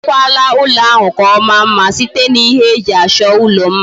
Imekwala ulo ahu ka omaa mma site na iji ihe eji acho ulo mma?